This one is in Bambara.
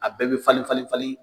A bɛɛ bɛ falen falen falen